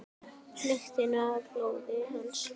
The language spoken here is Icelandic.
Lyktina af blóði hans.